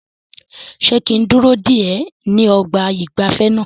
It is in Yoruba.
Ṣé kí n dúró dè ẹ́ ní ọgbà ìgbafẹ́ náà?